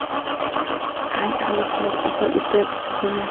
Ancha harakat qilib, oxiri eplab ketganman.